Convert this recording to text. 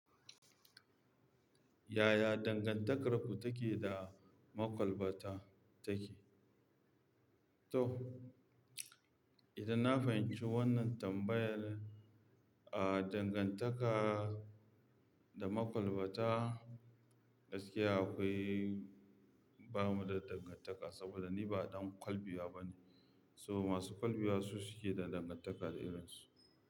Yaya dangantakar ku take da makwalbata take? To, idan na fahimci wannan tambayar, ah, dangantaka da makwalbata gaskiya akwai, bamu da dangantaka saboda ni ba ɗan kwalbiya bane. To masu kwalbiya su suke da dangantaka da irin su.